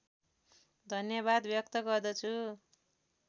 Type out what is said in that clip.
धन्यवाद व्यक्त गर्दछु